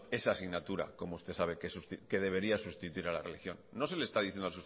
esa asignatura como usted sabe que debería sustituir a la religión no se le está diciendo